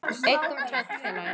Einkum tvennt, félagi.